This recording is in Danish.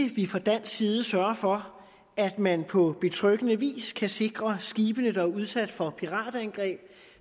vi fra dansk side sørger for at man på betryggende vis kan sikre skibene der er udsat for piratangreb